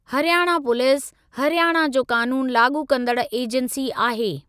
Haryana police, Haryana जो कानून लाॻू कंदड़ एजेंसी आहे।